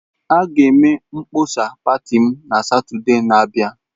A ga-eme mkpọsa pati m na Satọde na-abịa.